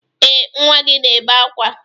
Ee, nwa gị na-ebe ákwá.